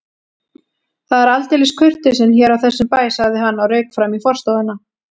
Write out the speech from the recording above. Það er aldeilis kurteisin hér á þessum bæ sagði hann og rauk fram í forstofuna.